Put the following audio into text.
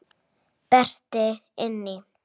Berti inn í.